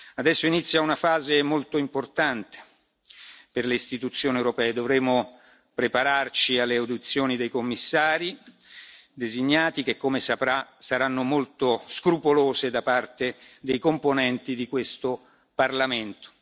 Adesso inizia una fase molto importante per le Istituzioni europee dovremo prepararci alle audizioni dei commissari designati, che, come saprà, saranno molto scrupolose da parte dei componenti di questo Parlamento.